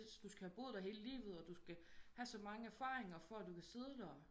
Du skal have boet der hele livet og du skal have så mange erfaringer for at kunne sidde der